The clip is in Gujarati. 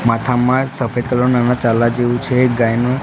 માથામાં સફેદ કલર ના ચાંદલા જેવું છે ગાયનું.